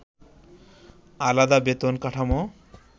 আলাদা বেতন কাঠামো